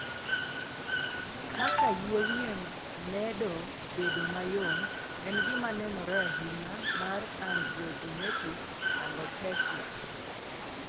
Kaka yie wiye medo bedo mayom en gima nenore ahinya mar androgenetic alopecia.